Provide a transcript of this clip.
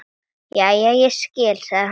Jæja, ég skil, sagði hún.